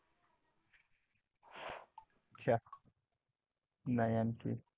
चहा नाही आणखी.